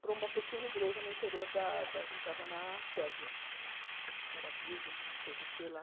para uma pequena igreja no interior da da... A gente estava na Sérvia, que era virgem, não sei do que lá.